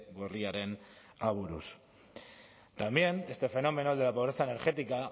gorriaren aburuz también este fenómeno el de la pobreza energética